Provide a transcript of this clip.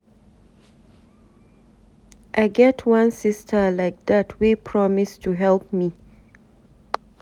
I get wan sister like dat wey promise to help me.